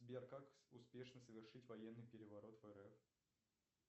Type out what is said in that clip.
сбер как успешно совершить военный переворот в рф